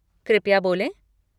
कृपया बोलें।